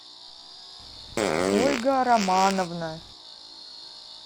ольга романовна